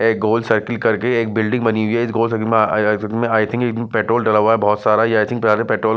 ये गोल सर्किल करके एक बिल्डिंग बनी हुई है इस गोल सर्किल में अं-अं आई थिंक एक पेट्रोल डाला हुआ है बहुत सारा आई थिंक ये सारा पेट्रोल --